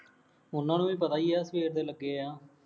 ਉਹਨਾ ਨੂੰ ਵੀ ਪਤਾ ਹੀ ਹੈ, ਸਵੇਰ ਦੇ ਲੱਗੇ ਹਾਂ